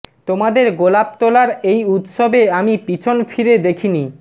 তোমাদের গোলাপ তোলার এই উৎসবে আমি পিছন ফিরে দেখিনি